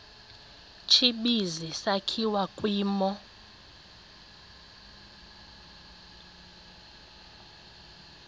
tsibizi sakhiwa kwimo